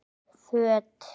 Föt